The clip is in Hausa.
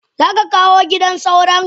Zaka kawo gidan sauron?